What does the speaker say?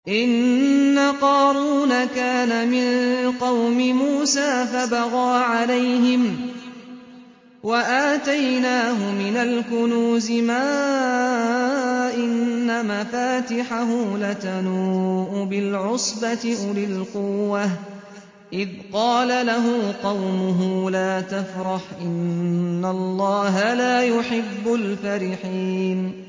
۞ إِنَّ قَارُونَ كَانَ مِن قَوْمِ مُوسَىٰ فَبَغَىٰ عَلَيْهِمْ ۖ وَآتَيْنَاهُ مِنَ الْكُنُوزِ مَا إِنَّ مَفَاتِحَهُ لَتَنُوءُ بِالْعُصْبَةِ أُولِي الْقُوَّةِ إِذْ قَالَ لَهُ قَوْمُهُ لَا تَفْرَحْ ۖ إِنَّ اللَّهَ لَا يُحِبُّ الْفَرِحِينَ